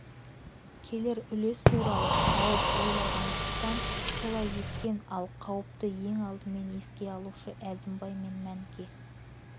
келер үлес туралы қауіп ойлағандықтан солай еткен ал қауіпті ең алдымен еске алушы әзімбай мен мәніке